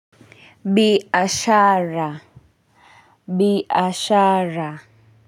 Biashara biashara.